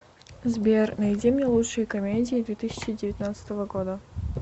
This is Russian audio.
сбер найди мне лучшие комедии две тысяча девятнадцатого года